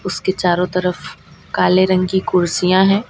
उसके चारों तरफ काले रंग की कुर्सियां हैं।